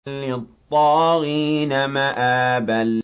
لِّلطَّاغِينَ مَآبًا